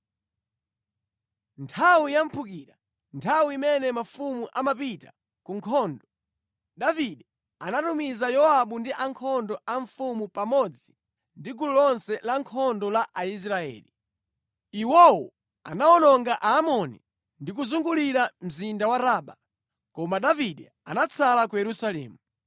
Nthawi ya mphukira, nthawi imene mafumu amapita ku nkhondo, Davide anatumiza Yowabu ndi ankhondo a mfumu pamodzi ndi gulu lonse lankhondo la Aisraeli. Iwo anawononga Aamoni ndi kuzungulira mzinda wa Raba. Koma Davide anatsala ku Yerusalemu.